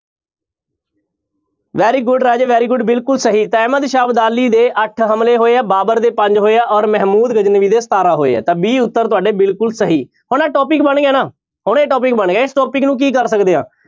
Very good ਰਾਜੇ very good ਬਿਲਕੁਲ ਸਹੀ ਤਾਂ ਅਹਿਮਦ ਸ਼ਾਹ ਅਬਦਾਲੀ ਦੇ ਅੱਠ ਹਮਲੇ ਹੋਏ ਆ ਬਾਬਰ ਦੇ ਪੰਜ ਹੋਏ ਆ ਔਰ ਮਹਿਮੂਦ ਗਜਨਵੀ ਦੇ ਸਤਾਰਾਂ ਹੋਏ ਆ ਤਾਂ b ਉਤਰ ਤੁਹਾਡੇ ਬਿਲਕੁਲ ਸਹੀ ਹੁਣ ਇਹ topic ਬਣ ਗਿਆ ਨਾ, ਹੁਣ ਇਹ topic ਬਣ ਗਿਆ ਇਸ topic ਨੂੰ ਕੀ ਕਰ ਸਕਦੇ ਹਾਂ